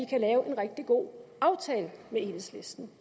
kan lave en rigtig god aftale med enhedslisten